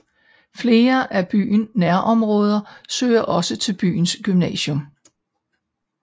Flere af byen nærområder søger også til byens gymnasium